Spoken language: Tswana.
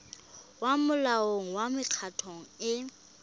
ya molao wa mekgatlho e